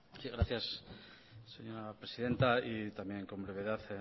sí gracias señora presidenta también con brevedad